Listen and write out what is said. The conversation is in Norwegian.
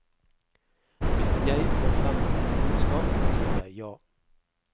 Hvis jeg får frem et budskap, sier jeg ja.